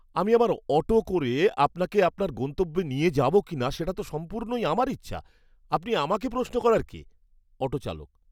আমি আমার অটো করে আপনাকে আপনার গন্তব্যে নিয়ে যাবো কিনা সেটা তো সম্পূর্ণই আমার ইচ্ছা। আপনি আমাকে প্রশ্ন করার কে? অটো চালক